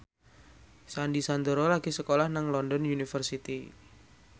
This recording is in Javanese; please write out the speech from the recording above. Sandy Sandoro lagi sekolah nang London University